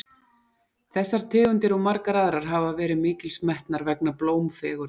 þessar tegundir og margar aðrar hafa verið mikils metnar vegna blómfegurðar